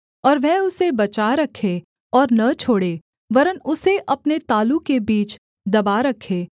और वह उसे बचा रखे और न छोड़े वरन् उसे अपने तालू के बीच दबा रखे